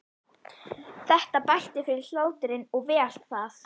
Þetta bætti fyrir hláturinn og vel það.